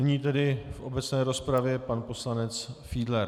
Nyní tedy v obecné rozpravě pan poslanec Fiedler.